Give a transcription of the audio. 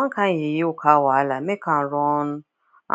one kind yeye car wahala make am run